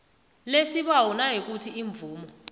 lesibawo nayikuthi imvumo